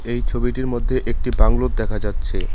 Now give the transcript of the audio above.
এই ছবিটির মধ্যে একটি বাংলো দেখা যাচ্ছে।